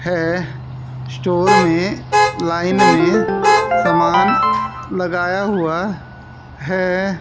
है स्टोर में लाईन में समान लगाया हुआ है।